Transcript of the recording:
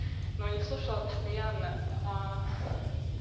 но не слушала постоянно